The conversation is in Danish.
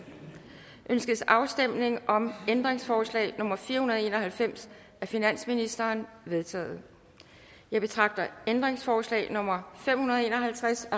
ønskes afstemning om ændringsforslag nummer fire hundrede og en og halvfems af finansministeren det vedtaget jeg betragter ændringsforslag nummer fem hundrede og en og halvtreds